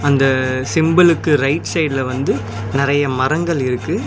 அந்த சிம்பிலுக்கு ரைட் சைடுல வந்து நெறைய மரங்கள் இருக்கு.